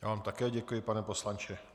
Já vám také děkuji, pane poslanče.